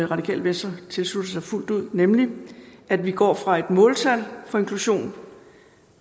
radikale venstre tilslutter sig fuldt ud nemlig at vi går væk fra et måltal for inklusion